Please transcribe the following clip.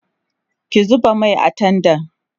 ki zuba Mai a tendan